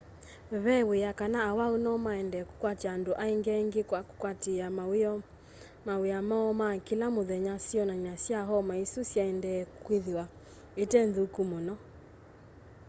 ve wia kana awau nomaendee kũkwatya andũ angĩ aingĩ kwa kũkwatĩĩa mawĩa moo ma kĩla mũthenya syonany'a sya homa ĩsu syaendeea kwĩthĩwa ite nthũku mũno